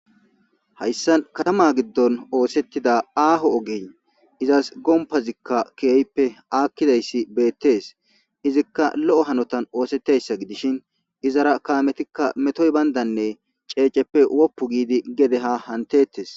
Hayssa katama giddon oosettida aaho ogey izas gompazikka kiyoyippe aakkidayssi beettees izikka lo'o hanotan oosetteyssa gidishin izara kaametikka metoy bayndanne ceeceppe woppu giidi gedeha hantettes.